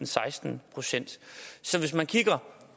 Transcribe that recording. seksten procent så hvis man kigger